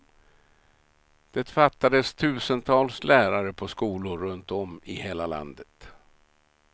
Det fattades tusentals lärare på skolor runtom i hela landet.